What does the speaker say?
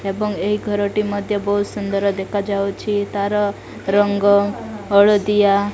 ଏବଂ ଏହି ଘରଟି ମଧ୍ଯ ବହୁତ ସୁନ୍ଦର ଦେଖାଯାଉଛି ତାର ରଙ୍ଗ ହଳଦିଆ --